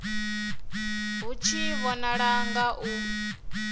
hu tshi vhonala nga u